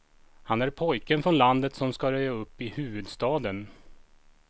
Han är pojken från landet som ska röja upp i huvudstaden.